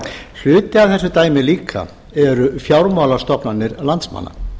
hluti af þessu dæmi líka eru fjármálastofnanir landsmanna